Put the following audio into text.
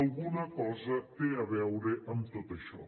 alguna cosa té a veure amb tot això